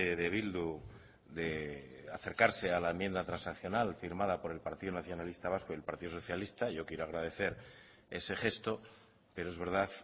de bildu de acercarse a la enmienda transaccional firmada por el partido nacionalista vasco y el partido socialista y yo quiero agradecer ese gesto pero es verdad